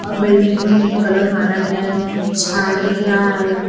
Building में pink colour मारा गया है झाड़ दिख रहा है।